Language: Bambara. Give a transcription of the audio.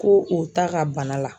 Ko o t'a ka bana la